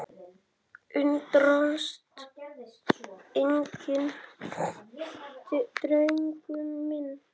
Undrast enginn, drengur minn.